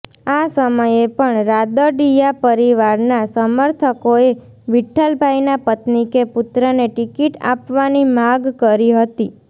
આ સમયે પણ રાદડિયા પરિવારના સમર્થકોએ વિઠ્ઠલભાઈના પત્નિ કે પુત્રને ટિકિટ આપવાની માગ કરી હતી